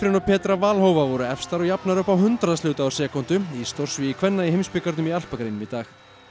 og Petra Vlhova voru efstar og jafnar upp á hundraðshluta úr sekúndu í stórsvigi kvenna í heimsbikarnum í alpagreinum í dag